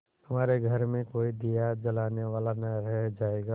तुम्हारे घर में कोई दिया जलाने वाला न रह जायगा